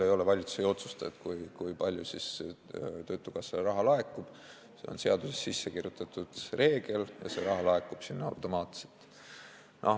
Valitsus ei otsusta, kui palju töötukassale raha laekub, see on seadusesse sisse kirjutatud reegel ja see raha laekub automaatselt.